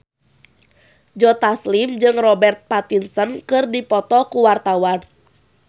Joe Taslim jeung Robert Pattinson keur dipoto ku wartawan